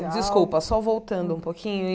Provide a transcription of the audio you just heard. Desculpa, só voltando um pouquinho.